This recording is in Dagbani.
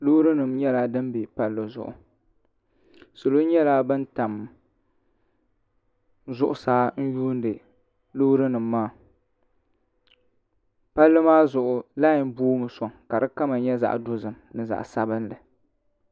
loori nim nyɛla din bɛ palli zuɣu salo nyɛla bin tam zuɣusaa n yuundi loori nim maa palli maa zuɣu lai boomi soŋ ka di kama nyɛ zaɣ dozim ni zaɣ sabinli